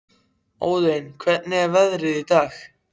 Óðinn, hvernig er veðrið í dag?